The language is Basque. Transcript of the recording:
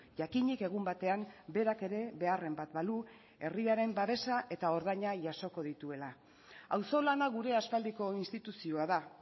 jakinik egun batean berak ere beharren bat balu herriaren babesa eta ordaina jasoko dituela auzolana gure aspaldiko instituzioa da